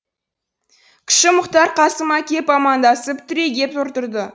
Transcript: кіші мұхтар қасыма кеп амандасып түрегеп отырды